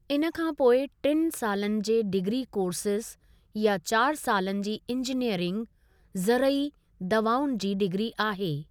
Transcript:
इन खां पोइ टिनि सालनि जे डिग्री कोर्सज़ या चार सालनि जी इंजीनीअरिंग, ज़रई दवाउनि जी डिग्री आहे।